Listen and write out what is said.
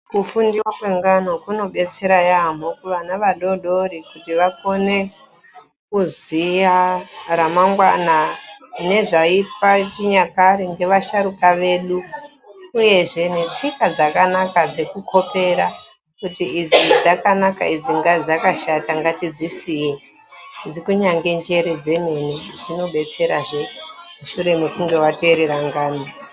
Kufundiwa kwengana kunodetsera yaampho kuvana vadodori kuti vakone kuziya ramamgwana nezvaaitwa chinyakare ngvasharuka vedu uyezve netsika dazkanaka veikhopera kuti idzi dzakanaka idzi dakashata ngatidzisiye ngekuti kunyange njere dzemene dzinobetserazve mushure mekunga wateerera ngano.